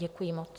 Děkuji moc.